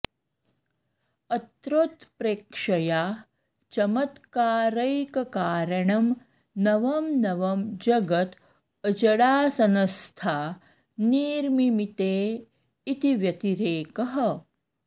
अत्रोत्प्रेक्षया चमत्कारैककारणं नवं नवं जगद् अजडासनस्था निर्मिमीते इति व्यतिरेकः